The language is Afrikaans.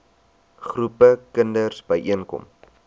groepe kinders byeenkom